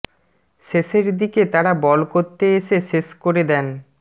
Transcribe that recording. শেষের দিকে তারা বল করতে এসে শেষ করে দেন